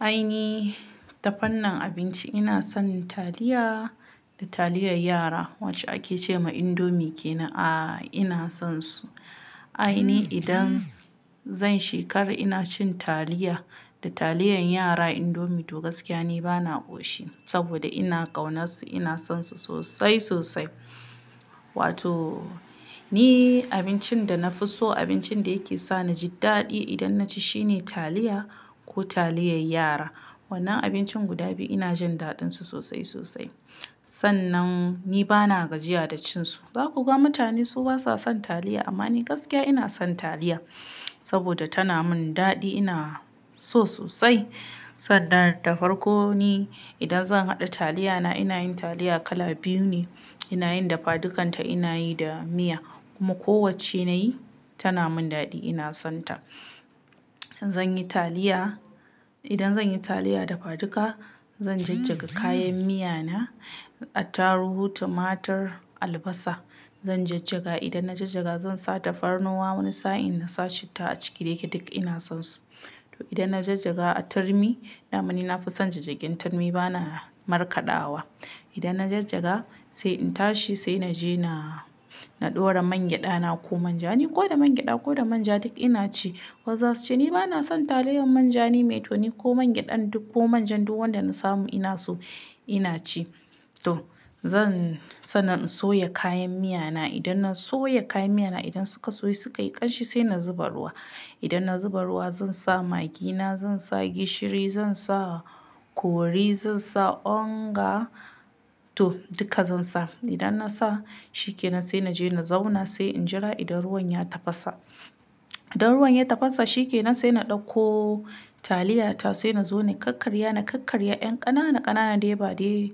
Ai ni tafarnin abinci ina son taliya da taliyar yara wacce ake ce ma indomi kenan a ina son su. Ai ni idan zan shekara ina cin taliya da taliyar yara indomi to gaskiya ni bana ƙoshi saboda ina ƙaunarsu ina sonsu sosai sosai. Wato ni abincin da na fi so abincin da yake sa naji daɗi idan naci shine taliya ko taliyar yara. Wannan abincin guda biyu ina jin daɗinsu sosai sosai. Sannan ni bana gajiya da cin su. Za ku ga mutane su basa son taliya amma ni gaskiya ina son taliya saboda tana mun daɗi ina so sosai. Sannan dafarkoni idan zan haɗa taliyana ina yin taliya kala biyu ne ina yin dafadukanta ina yi da miya kuma ko wacce nayi tana mun daɗi ina son ta. Zan yi taliya idan zan yi taliya dafaduka zan jajjaga kayan miyana attarugu, tumatur, albasa zan jajjaga idan na jajjaga zan sa tafarnuwa wani sa'in na sa citta a ciki dayake duk ina sonsu. To idan na jajjaga a turmi, dama ni na fi son jajjagen turmi bana markaɗawa. Idan na jajjaga sai in tashi sai naje na na ɗora mangyaɗana ko manja ni ko da mangyaɗa ko da manja duk ina ci. Wasu zasuce ni bana son taliyar manja nime to ni ko mangyaɗan duk ko manjan duk wanda na samu ina so ina ci. To zan sannan in soya kayan miyana idan na soya kayan miyana idan suka soyu suka yi ƙanshi sai na zuba ruwa. Idan na zuba ruwa zan sa magina, zan sa gishiri, zan sa ƙori, zan sa onga to duka zan sa. Idan na sa shi kenan sai naje na zauna sai in jira idan ruwan ya tafasa. Idan ruwan ya tafasa shi ke nan sai na ɗauko taliyata sai na zo na kakkarya na kakkarya ƴan ƙanana ƙanana dai ba dai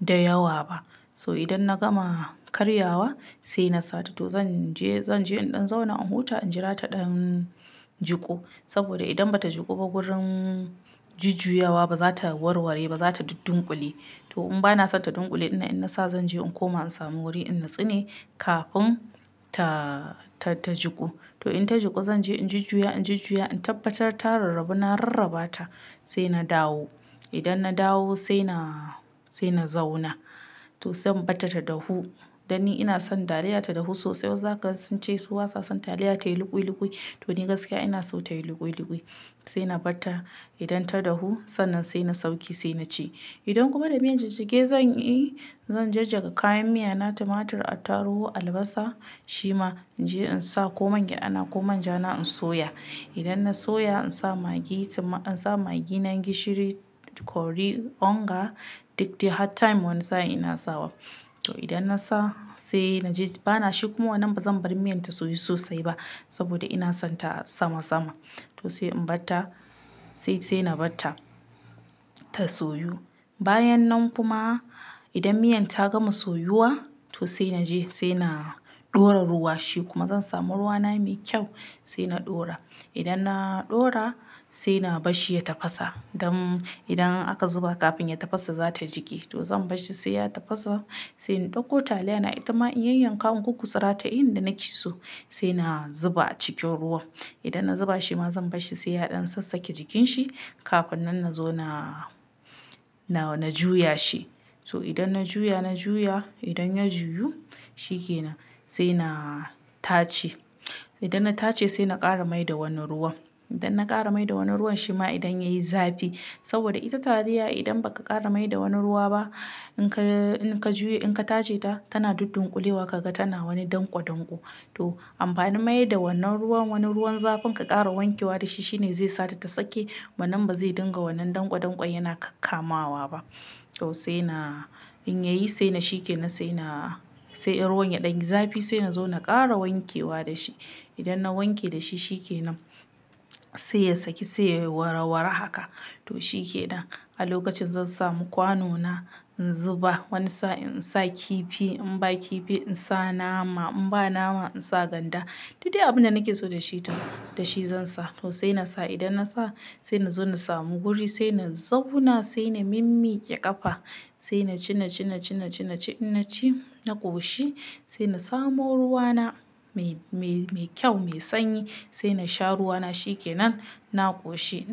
da yawa ba. So idan na gama karyawa sai na sata to zan je zan je in ɗan zauna in huta in jira ta ɗan jiku saboda idan bata jiku ba gurin jujjuyawa baza ta warware ba, za ta duddunƙule. To in bana son ta ɗunkule ɗinan in na sa zan je in koma in samu wuri in natsu ne kafin ta ta jiku. To in ta jiku zan je in jujuya in jujuya in tabbatar ta rarrabu na rarraba ta sai na dawo. Idan na dawo sai na sai na zauna to zan barta ta dahu dan ni ina son taliyata dahu sosai wasu zaka gansu sun ce su basa son taliya tayi luƙwi luƙwi to ni gaskiya ina so tayi luƙwi luƙwi sai na barta idan ta dahu sannan sai na sauke sai na ci. Idan kuma da miyan jajjege zan yi zan jajjaga kayan miyana tumatur, attarugu, albasa, shima in je in sa ko mangyaɗana ko manjana in soya. Idan na soya in sa magi tumma in sa magi na gishiri, kori, onga duk dai har time wani sa'in ina sawa. To idan na sa sai naje bana shiku ma wannan bazan bar miyan ta soyu sosai ba saboda ina son ta sama sama. To sai in barta sai sai na barta ta soyu. Bayan nan kuma idan miyan ta gama soyuwa to sai naje sai na ɗora ruwa shi kuma zan samu ruwana mai kyau sai na ɗora. Idan na ɗora sai na bashi ya tafasa don idan aka zuba kafin ya tafasa zata jike to zan bashi sai ya tafasa sai in ɗauko taliyana ita ma in yanyanka gurgutsura ta yin da naki so sai na zuba a cikin ruwan. Idan na zuba shima zan barshi sai ya ɗan sassake jikinshi kafin nan na zo na na juya shi. So idan na juya na juya idan ya juyu shi kenan sai na tace. Idan na tace sai na ƙara mai da wani ruwan. Idan na ƙara mai da wani ruwan shima idan yayi zafi saboda ita taliya idan baka ƙara mai da wani ruwa ba in ka in ka juye in ka tace ta tana duddunƙulewa kaga tana wani danƙwodanƙwo. To amfanin mai da wannan ruwan wani ruwan zafin ka ƙara wankewa da shi shine zai sata ta sake ba nan ba zai dinga wannan danƙwodanƙwon yana kakamawa ba. To sai na in yayi sai na shi ke nan sai na sai in ruwan ya ɗan zafi sai na zo na ƙara wankewa da shi. Idan na wanke da shi shi ke nan sai ya saki sai ya warawara haka to shi ke nan. A lokacin zan samu kwano na in zuba wani sa'in in sa kifi in ba kifi in sa nama in ba nama in sa ganda duk dai abinda nake so da shi da shi zan sa. To sai na sa idan na sa sai na zo na samu wuri sai na zauna sai na mimmiƙe ƙafa sai na ci na ci na ci na ci na ci in na ci na ƙoshi sai na samu ruwana mai mai kyau mai sanyi sai na sha ruwana shi kenan na ƙoshi.